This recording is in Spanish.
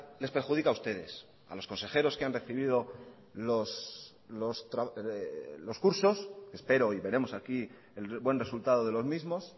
les perjudica a ustedes a los consejeros que han recibido los cursos espero y veremos aquí el buen resultado de los mismos